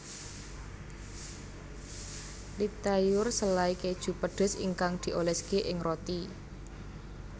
Liptauer selai keju pedes ingkang dioleske ing roti